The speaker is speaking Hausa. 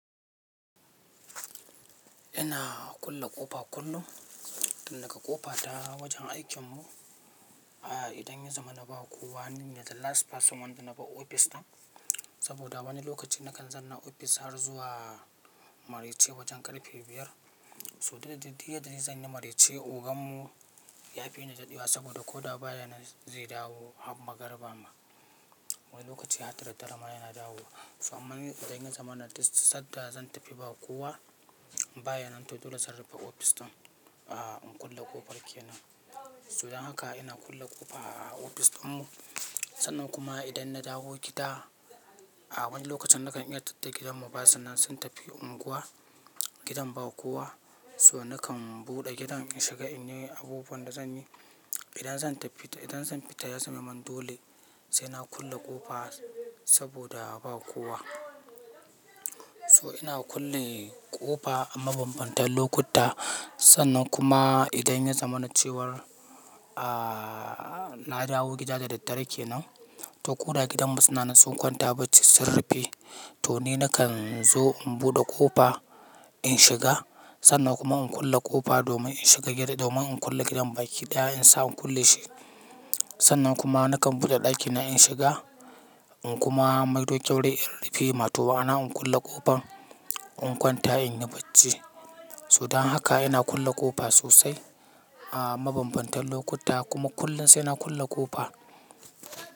Ina kulle ƙofa kullum, tin daga ƙofa ta wajen aikinmu. Idan ya zama na ba kowa, ni ne the last person wanda na bar ofis ɗin, saboda wani lokaci nakan zanna a ofis har zuwa marece wajen karfe biyar. To diddadai du yadda dai zan yi marece, ogan mu ya fi ni daɗewa, saboda ko da baya nan zai dawo har magariba ma. Wani lokaci hadda daddare ma yana dawowa. To amman idan ya zamana duk sadda zan tafi ba kowa, baya nan to dole zan rufe ofis ɗin, ah, in kulle ƙofar kenan. To dan haka ina kulle ƙofa a ofis ɗinmu. Sannan kuma idan na dawo gida, a wani lokacin nakan iya tadda gidanmu basu nan, sun tafi unguwa, gidan ba kowa. So nakan buɗe gidan in shiga in yi abubuwan da zan yi. Idan zan tafi ta, idan zan fita ya zamemun dole sai na kulle ƙofa, saboda ba kowa. To ina kulle ƙofa, a mabambantan lokuta. Sannan kuma idan ya zamana cewar, na dawo gida da daddare ke nan, to ko da gidanmu suna nan sun kwanta bacci sun ruffe, to ni nakan zo in buɗe ƙofa in shiga. Sannan kuma in kulle ƙofa domin in shiga gida domin in kulle gidan baki ɗaya in sa in kulle shi. Sannan kuma nakan buɗe ɗakina in shiga, in kuma maido ƙyaure in rufe mato ma'ana in kulle ƙofan, in kwanta in yi bacci. So dan haka ina kulle ƙofa sosai a mabambantan lokuta kuma kullum sai na kulle ƙofa.